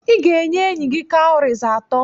Ị ga-enye enyi gị cowries atọ.